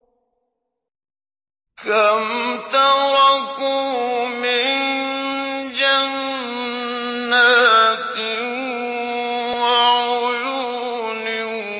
كَمْ تَرَكُوا مِن جَنَّاتٍ وَعُيُونٍ